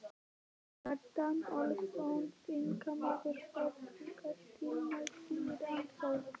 Kjartan Ólafsson, þingmaður Vestfirðinga, sté næstur í ræðustól.